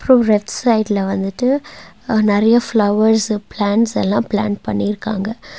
அப்றோ லெஃப்ட் சைடுல வந்துட்டு ஆ நெறையா ஃபிளவர்ஸ் பிளான்ட்ஸ் எல்லா பிளான்ட் பண்ணிருக்காங்க.